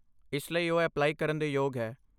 ਇਸ ਲਈ, ਉਹ ਅਪਲਾਈ ਕਰਨ ਦੇ ਯੋਗ ਹੈ।